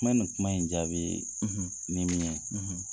Ma na ni kuma in jaabi, , ni min ye,